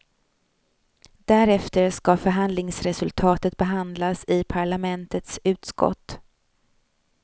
Därefter skall förhandlingsresultatet behandlas i parlamentets utskott.